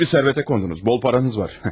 Büyük bir sərvətə qondunuz, bol paranız var.